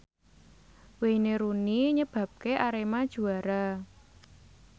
Wayne Rooney nyebabke Arema juara